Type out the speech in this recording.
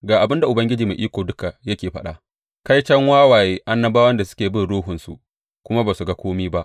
Ga abin da Ubangiji Mai Iko Duka yake faɗa, Kaiton wawaye annabawan da suke bin ruhunsu kuma ba su ga kome ba!